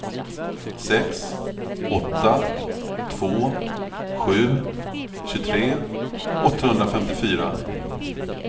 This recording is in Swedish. sex åtta två sju tjugotre åttahundrafemtiofyra